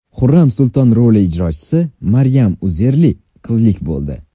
Xurram Sulton roli ijrochisi Maryam Uzerli qizlik bo‘ldi.